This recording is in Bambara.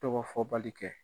Tɔgɔ fɔ bali kɛ